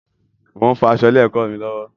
Mo ń fọ aṣọ ilé ẹkọ mí lọwọ